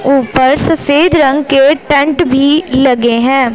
ऊपर सफेद रंग के टेंट भी लगे हैं।